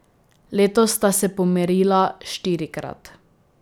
Letos sta se pomerila štirikrat.